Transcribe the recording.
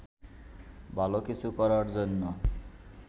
ভালো কিছু করার জন্য